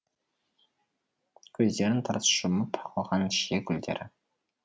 көздерін тарс жұмып алған шие гүлдері